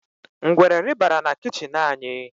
Ngwere rị́barà na kichin anyi